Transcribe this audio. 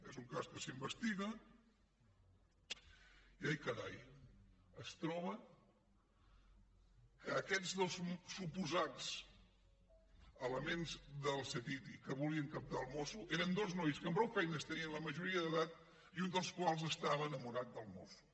és un cas que s’investiga i ai carai es troba que aquests dos suposats elements del ctti que volien captar el mosso eren dos nois que amb prou feines tenien la majoria d’edat i un dels quals estava enamorat del mosso